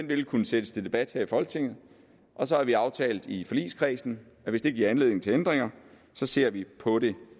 vil kunne sættes til debat her i folketinget og så har vi aftalt i forligskredsen at hvis det giver anledning til ændringer ser vi på det